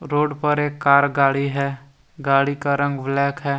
Road पर एक car गाड़ी है गाड़ी का रंग ब्लैक है।